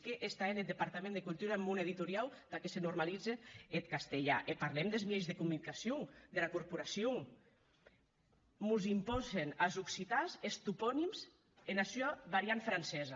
qué hè eth departament de cultura en mon editoriau tà que se normalize eth catalan e parlem des mieis de comunicacion dera corporacion mos impòsen as occitans es toponims ena sua varianta francesa